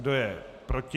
Kdo je proti?